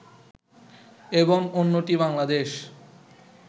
এবং অন্যটি বাংলাদেশ